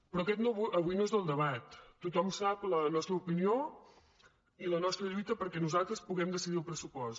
però aquest avui no és el debat tothom sap la nostra opinió i la nostra lluita perquè nosaltres puguem decidir el pressupost